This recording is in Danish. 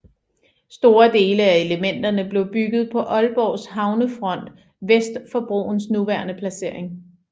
Store dele af elementerne blev bygget på Aalborgs havnefront vest for broens nuværende placering